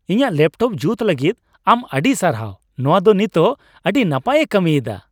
ᱤᱧᱟᱹᱜ ᱞᱮᱯᱴᱚᱯ ᱡᱩᱛ ᱞᱟᱹᱜᱤᱫ ᱟᱢ ᱟᱹᱰᱤ ᱥᱟᱨᱦᱟᱣ ᱾ ᱱᱚᱶᱟ ᱫᱚ ᱱᱤᱛᱚᱜ ᱟᱹᱰᱤ ᱱᱟᱯᱟᱭ ᱮ ᱠᱟᱹᱢᱤ ᱮᱫᱟ ᱾